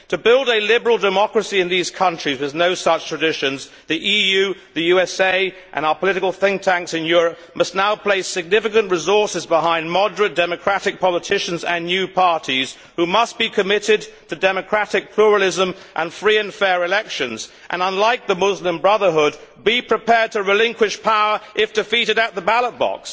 To build a liberal democracy in these countries with no such traditions, the EU, the USA and our political think tanks in Europe must now place significant resources behind moderate democratic politicians and new parties who must be committed to democratic pluralism and free and fair elections and, unlike the Muslim Brotherhood, be prepared to relinquish power if defeated at the ballot box.